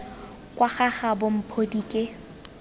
kwa ga gabo mphodi ke